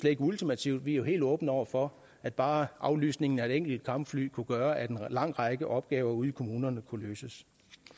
ikke ultimativt vi er helt åbne over for at bare aflysningen af et enkelt kampfly kunne gøre at en lang række opgaver ude i kommunerne kunne løses